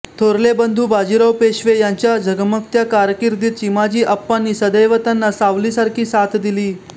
थोरले बंधू बाजीराव पेशवे यांच्या झगमगत्या कारकीर्दीत चिमाजीआप्पांनी सदैव त्यांना सावलीसारखी साथ दिली